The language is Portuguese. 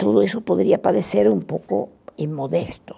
tudo isso poderia parecer um pouco imodesto.